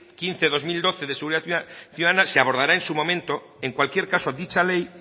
quince barra dos mil doce de seguridad ciudadana se abordará en su momento en cualquier caso dicha ley